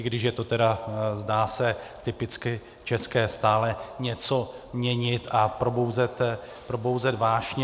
I když je to tedy, zdá se, typicky české stále něco měnit a probouzet vášně.